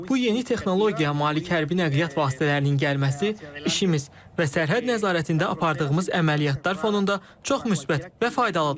Bu yeni texnologiya malik hərbi nəqliyyat vasitələrinin gəlməsi, işimiz və sərhəd nəzarətində apardığımız əməliyyatlar fonunda çox müsbət və faydalıdır.